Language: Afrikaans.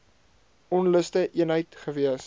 onluste eenheid gewees